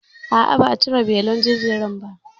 A'a, basu cire belin jinjirin ba?